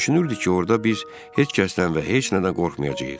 Düşünürdük ki, orda biz heç kəsdən və heç nədən qorxmayacağıq.